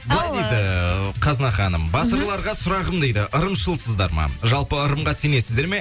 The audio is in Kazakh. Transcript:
ал ііі былай дейді ііі қазына ханым батырларға сұрағым дейді ырымшылсыздар ма жалпы ырымға сенесіздер ме